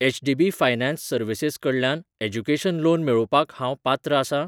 HDB finance services कडल्यान education loan मेळोवपाक हांव पात्र आसां?